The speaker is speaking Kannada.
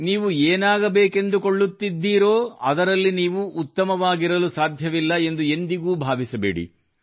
ನೀವು ಏನಾಗಬೇಕೆಂದು ಕೊಳ್ಳುತ್ತಿದ್ದೀರೋ ಅದರಲ್ಲಿ ನೀವು ಉತ್ತಮವಾಗಿರಲು ಸಾಧ್ಯವಿಲ್ಲ ಎಂದು ಎಂದಿಗೂ ಭಾವಿಸಬೇಡಿ